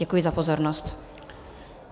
Děkuji za pozornost.